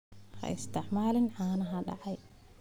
Ha isticmaalin caanaha dhacay.